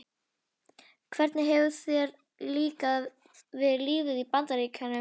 Hvernig hefur þér líkað við lífið í Bandaríkjunum?